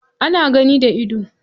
Ana gani da ido.